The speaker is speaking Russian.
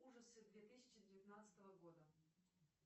ужасы две тысячи девятнадцатого года